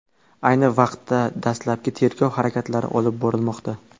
Ayni paytda dastlabki tergov harakatlari olib borilmoqda.